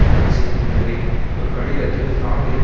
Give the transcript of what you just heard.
தடை செய்திருந்ததை ஒரு கடிதத்தில் பிராங் எல்ப